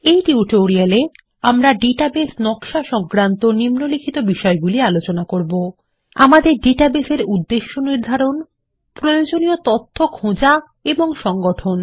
এই টিউটোরিয়ালে আমরা ডাটাবেস নকশা সংক্রান্ত নিম্নলিখিত বিষয়গুলি আলোচনা করবো আমাদের ডাটাবেস এর উদ্দেশ্য নির্ধারণ প্রয়োজনীয় তথ্য খোঁজা এবং সংগঠন